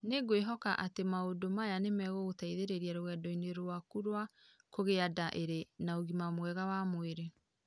Nĩ ngwĩhoka atĩ maũndũ maya nĩ megũgũteithia rũgendo-inĩ rwaku rwa kũgĩa nda ĩrĩ na ũgima mwega wa mwĩrĩ.